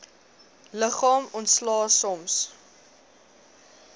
liggaam ontslae soms